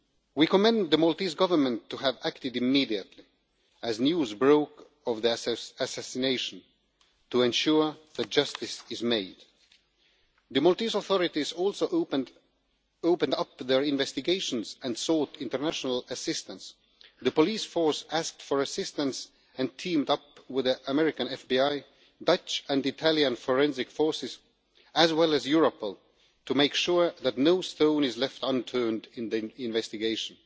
We commend the Maltese Government for having acted immediately as news broke of the assassination to ensure that justice is done. The Maltese authorities also opened up their investigations and sought international assistance. The police force asked for assistance and teamed up with the American FBI, Dutch and Italian forensic forces, as well as Europol, to make sure that no stone is left unturned in the investigation.